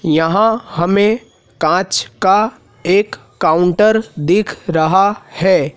यहां हमें कांच का एक काउंटर दिख रहा है।